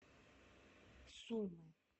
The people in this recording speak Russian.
сумы